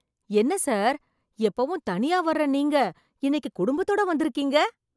என்ன சார்! எப்பவும் தனியா வர்ற நீங்க இன்னைக்கு குடும்பத்தோட வந்து இருக்கீங்க